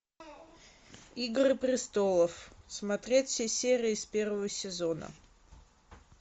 игры престолов смотреть все серии с первого сезона